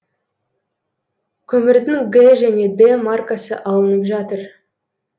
көмірдің г және д маркасы алынып жатыр